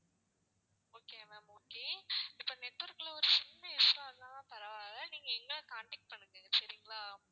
okay ma'am okay இப்போ network ஒரு சின்ன issue வா இருந்தாலும் பரவாயில்லை நீங்க எங்களை contact பண்ணுங்க சரிங்களா,